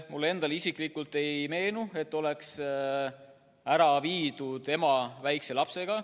Mulle endale isiklikult ei meenu, et oleks ära viidud ema väikese lapsega.